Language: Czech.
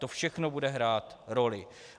To všechno bude hrát roli.